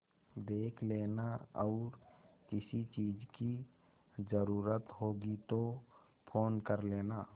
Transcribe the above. देख लेना और किसी चीज की जरूरत होगी तो फ़ोन कर लेना